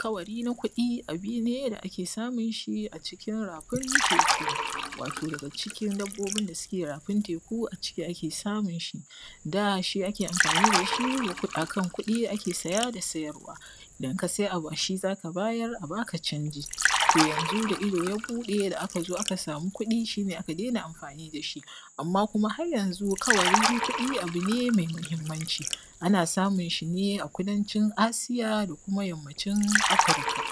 ka:wari: na: ku:ɗi: a:bu: ne: da ake sa:mun ʃi a ʧikin ra:fin te:ku wa:to daga ʧikin dabbobin da suke ra:fin te:ku a ʧiki ake samun ʃi da: ʃii ake amfa:ni: da ʃi: akan ku:ɗii ake saja da sijarwa: idan ka: sai a:bu ʃi: za: ka: ba:jar a ba: ka ʧanʤi: to janzu: da ido: ja: bu:ɗe a ka zo: a ka sa:mu ku:ɗi: ʃi: ne: a ka daina amfa:ni: da ʃi: amma: kuma har janzu: ka:wari: na: ku:ɗii: a:bu ne mai ma:himmanci ana: sa:mun ʃi: ne: a kudanʧin Aasija da kuma jammaʧin Afirika